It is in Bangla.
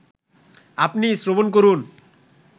আপনি শ্রবণ করুন